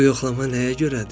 Bu yoxlama nəyə görədir?